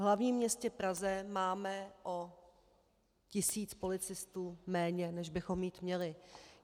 V hlavním městě Praze máme o tisíc policistů méně, než bychom mít měli.